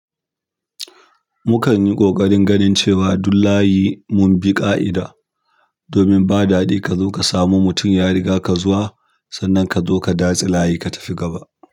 Mukan yi ƙoƙarin ganin cewa duk layi mun bi ƙa'ida, domin ba daɗi ka zo ka samu mutum ya riga ka zuwa sannan ka zo ka datse layi ka tafi gaba.